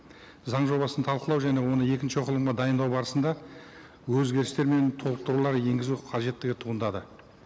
заң жобасын талқылау және оны екінші оқылымға дайындау барысында өзгерістер мен толықтырулар енгізу қажеттігі туындады